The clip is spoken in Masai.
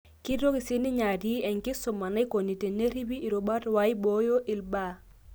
Kitoki sininye atii enkisuma naikoni teneripi irubat waiboyo ilbaa.